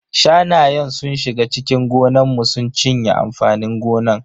Shanayen sun shiga cikin gonan mu sun cinye amfanin gonan.